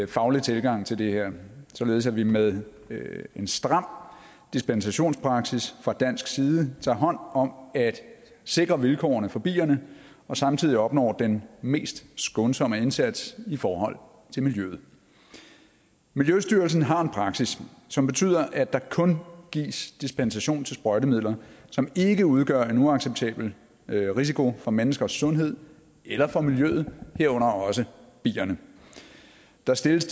faglig tilgang til det her således at vi med en stram dispensationspraksis fra dansk side tager hånd om at sikre vilkårene for bierne og samtidig opnår den mest skånsomme indsats i forhold til miljøet miljøstyrelsen har en praksis som betyder at der kun gives dispensation til sprøjtemidler som ikke udgør en uacceptabel risiko for menneskers sundhed eller for miljøet herunder også bierne der stilles